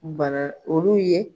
Bana olu ye